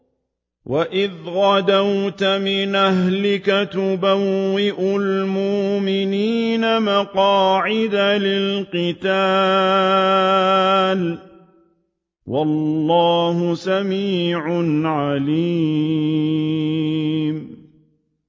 وَإِذْ غَدَوْتَ مِنْ أَهْلِكَ تُبَوِّئُ الْمُؤْمِنِينَ مَقَاعِدَ لِلْقِتَالِ ۗ وَاللَّهُ سَمِيعٌ عَلِيمٌ